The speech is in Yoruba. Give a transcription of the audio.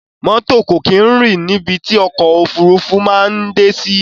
Mọ́tò kò kí n rìn ní ibi tí ọ̀kọ̀ ofúrufú maa n dé sí